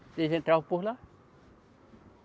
Eles entravam por lá.